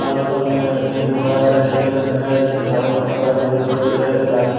और ऊपर में एक बड़ा रेड कलर का बैनर है जिसमें ढाबा लिखा हुआ है जो येलो कलर से है एक आदमी--